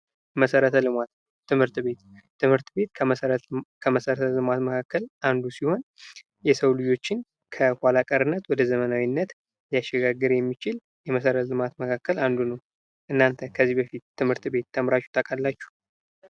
መሰረተ ልማት ትምህርት ቤት። ትምህርት ቤት ከመሰረተ መካከል አንዱ ሲሆን የሰው ልጆችን ወደ ዘመናዊነት ሊያሽጋግር የሚችል የመሰረት ልማት መካከል አንዱ ነው። እናንተ ከዚህ በፊት ትምህርት ቤት ተምራችሁ ታውቃላችሁ?